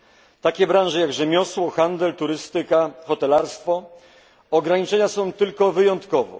W takich branżach jak rzemiosło, handel, turystyka, hotelarstwo ograniczenia są tylko wyjątkowe.